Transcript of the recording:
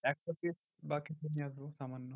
একশো piece বা কিছু নিয়ে আসবো সামান্য।